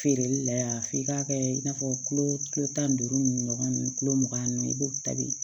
Feereli la yan f'i ka kɛ i n'a fɔ kulo kilo tan ni duuru ɲɔgɔn ninnu kulo mugan ninnu i b'o tabi